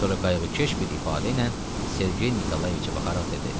Sonra qayğıkeş bir ifadə ilə Sergey Nikolayeviçə baxaraq dedi.